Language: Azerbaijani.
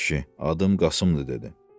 Adım Qasımdır, dedi.